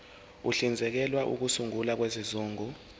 uhlinzekela ukusungulwa kwezigungu